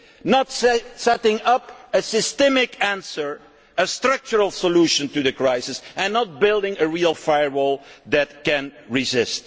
Italy. Not setting up a systemic answer, a structural solution to the crisis and not building a real firewall that can